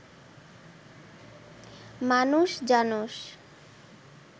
মানুষ জানস